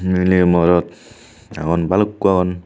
Miley morot agon balukko agon.